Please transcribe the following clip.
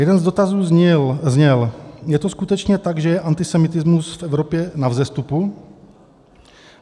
Jeden z dotazů zněl: Je to skutečně tak, že je antisemitismus v Evropě na vzestupu?